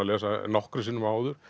lesa nokkrum sinnum áður